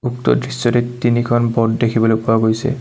উক্ত দৃশ্যটিত তিনিখন ব'ট দেখিবলৈ পোৱা গৈছে।